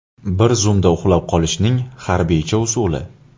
Bir zumda uxlab qolishning harbiycha usuli.